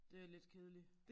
Det er lidt kedeligt